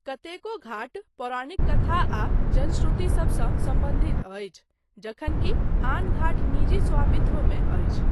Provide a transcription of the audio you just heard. कतेको घाट पौराणिक कथा आ जनश्रुति सबसँ सम्बन्धित अछि जखनकि आन घाट निजी स्वामित्वमे अछि।